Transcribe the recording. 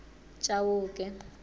chauke